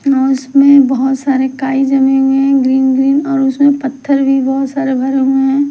अ उसमें बहोत सारे काई जमे हुए हैं ग्रीन ग्रीन और उसमें पत्थर भी बहोत सारे भरे हुए हैं।